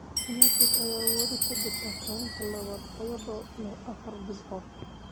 United ayaa weli ku jirta kaalinta labaad iyadoo leh afar dhibcood.